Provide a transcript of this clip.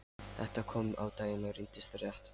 Þetta kom á daginn og reyndist rétt.